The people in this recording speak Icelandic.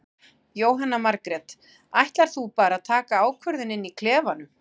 Jóhanna Margrét: Ætlar þú bara að taka ákvörðun inn í klefanum?